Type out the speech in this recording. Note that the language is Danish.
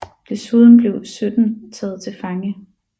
Desuden blev 17 taget til fange